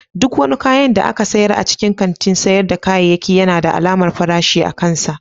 Duk wani kayan da aka sayar a cikin kantin sayar da kayayyaki yana da alamar farashi akansa.